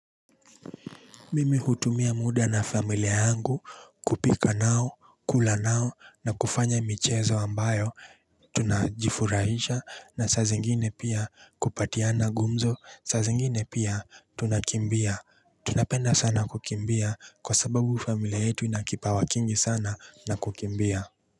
Mimi hutumia muda na familia yangu kupika nao kula nao na kufanya michezo ambayo tunajifurahisha na saa zingine pia kupatiana gumzo sa zingine pia tunakimbia tunapenda sana kukimbia kwa sababu familia yetu ina kipawa kingi sana na kukimbia.